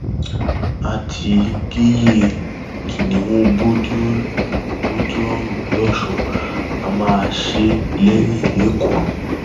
a ti géyée kìnnìún bourdillion bourdillion losùn á máa ṣe é lẹyìn lẹkọọ